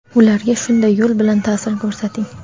ularga shunday yo‘l bilan ta’sir ko‘rsating.